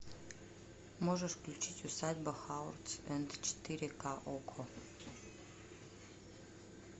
можешь включить усадьба хауардс энд четыре ка окко